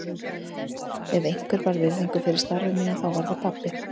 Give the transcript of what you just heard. Ef einhver bar virðingu fyrir starfi mínu þá var það pabbi.